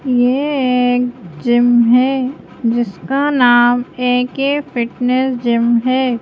ये एक जिम है जिसका नाम ए_के फिटनेस जिम है।